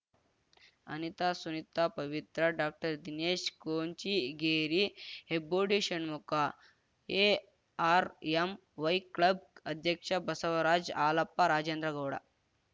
ಅನಿತಾ ಸುನಿತಾ ಪವಿತ್ರ ಡಾಕ್ಟರ್ದಿನೇಶ್‌ಕೊಂಚಿಗೇರಿ Hebbodi Shanmukha ARMY club ಅಧ್ಯಕ್ಷ ಬಸವರಾಜ್‌ ಹಾಲಪ್ಪ ರಾಜೇಂದ್ರಗೌಡ